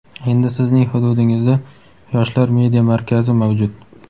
endi Sizning hududingizda "Yoshlar media markazi" mavjud!.